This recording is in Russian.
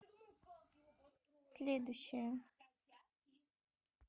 следующая